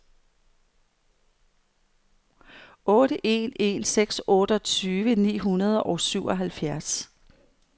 otte en en seks otteogtyve ni hundrede og syvoghalvfjerds